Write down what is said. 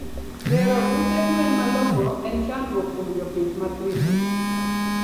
Gero ute gwen malongo en chandruok kuom jopith mathiso